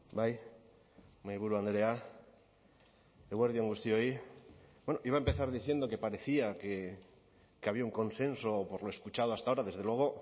bai mahaiburu andrea eguerdi on guztioi bueno iba a empezar diciendo que parecía que había un consenso por lo escuchado hasta ahora desde luego